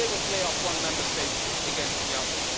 They will play off one Member State against the other.